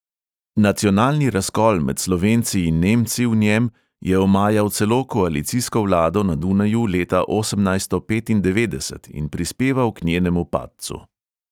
Nacionalni razkol med slovenci in nemci v njem je omajal celo koalicijsko vlado na dunaju leta osemnajststo petindevetdeset in prispeval k njenemu padcu.